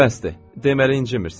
Deməli, incimirsən?